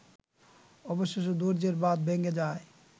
অবশেষে ধৈর্যের বাঁধ ভেঙে যায়